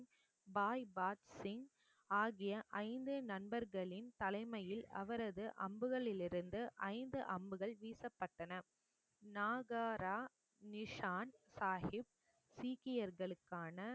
பாய் பாத்சிங் ஆகிய ஐந்து நண்பர்களின் தலைமையில் அவரது அம்புகளிலிருந்து ஐந்து அம்புகள் வீசப்பட்டன நாகாரா நிஷான் சாகிப் சீக்கியர்களுக்கான